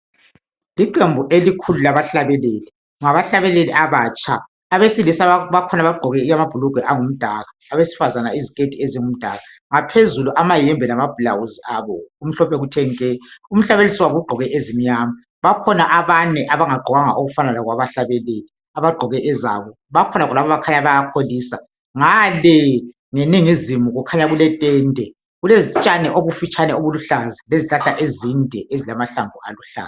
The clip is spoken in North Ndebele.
Iqembu elikhulu labahlabeleli ngabahlabeleli abatsha. Abesilisa bakhona abgqoke amabhulugwe angumdaka abesifazana iziketi ezingumdaka phezulu amayembe lamabhulawuzi abo kumhlophe kuthe nke. Umhlabelisi wabo ugqoke ezimnyama. Bakhona abane abangagqokanga okufana lokwabahlabeleli abagqoke ezabo bakhona khonapha bakhanya bayakholisa. Ngale ngeningizimu kukhanya kuletende kulotshani obufitshane obuluhlaza lezihlahla ezinde ezilamahlamvu aluhlaza.